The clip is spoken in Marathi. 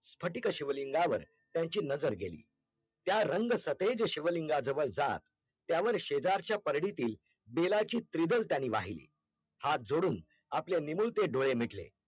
स्फटीक शिवलिंगावर त्यांची नजर गेली त्या रंग सफेद शिवलिंगा जवळचा त्यावर शेजारच्या परडीतील बेलाची त्रित्व्ल त्यांनी वाहिली हाथ जोडून आपले निमुळते डोळे मिटले